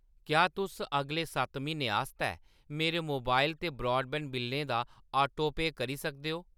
क्या तुस अगले सत्त म्हीनें आस्तै मेरे मोबाइल ते ब्रॉडबैंड बिल्लें दा ऑटोपेSकरी सकदे ओ ?